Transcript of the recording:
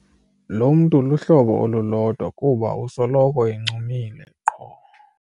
Lo mntu luhlobo olulodwa kuba usoloko encumile qho.